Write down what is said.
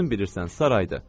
Özün bilirsən, saraydır.